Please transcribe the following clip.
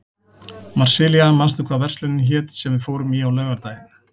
Marsilía, manstu hvað verslunin hét sem við fórum í á laugardaginn?